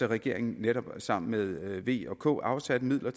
regeringen netop sammen med v og k afsat midler